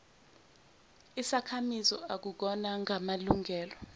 isakhamizi akukhona ngamalungelo